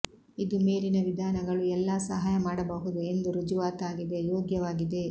ಇದು ಮೇಲಿನ ವಿಧಾನಗಳು ಎಲ್ಲಾ ಸಹಾಯ ಮಾಡಬಹುದು ಎಂದು ರುಜುವಾತಾಗಿದೆ ಯೋಗ್ಯವಾಗಿದೆ